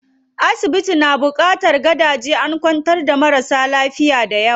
Asibitin na buƙatar gadaje, an kwantar da marasa lafiya dayawa.